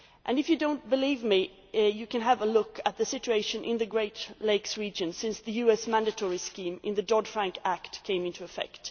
If you do not believe me, you can have a look at the situation in the Great Lakes region since the US mandatory scheme in the Dodd Frank Act came into effect.